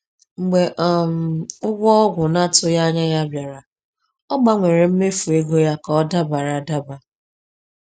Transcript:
Mgbe um ụgwọ ọgwụ na-atụghị anya ya bịara, ọ gbanwere mmefu ego ya ka ọ dabara adaba.